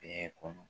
Ee kɔnɔ